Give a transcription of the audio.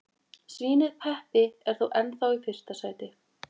Svínið Peppi er þó ennþá í fyrsta sæti.